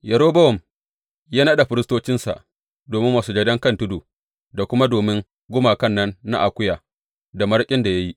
Yerobowam ya naɗa firistocinsa domin masujadan kan tudu da kuma domin gumakan nan na akuya da maraƙin da ya yi.